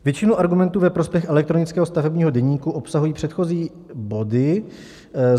Většinu argumentů ve prospěch elektronického stavebního deníku obsahují předchozí body.